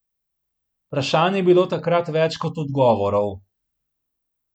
Vprašanj je bilo takrat več kot odgovorov.